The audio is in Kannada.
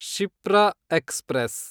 ಶಿಪ್ರಾ ಎಕ್ಸ್‌ಪ್ರೆಸ್